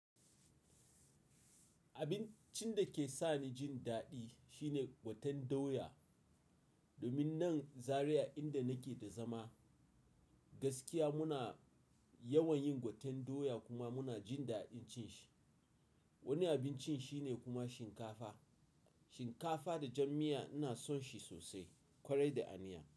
Abincin da ke sani jin daɗi shine gwaten doya. Domin nan Zariya inda nake da zama, gaskiya muna yawan yin gwaten doya kuma muna jin daɗin cin shi. Wani abincin shine kuma shinkafa. Shinkafa da jam miya ina son shi sosai, ƙwarai da aniya.